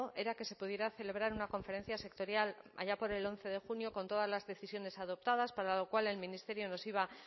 era que se pudiera celebrar una conferencia sectorial allá por el once de junio con todas las decisiones adoptadas para lo cual el ministerio nos iba